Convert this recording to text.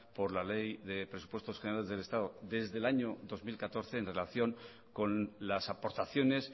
por la ley de presupuestos generales del estado desde el año dos mil catorce en relación con las aportaciones